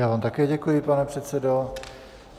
Já vám také děkuji, pane předsedo.